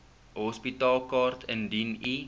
hospitaalkaart indien u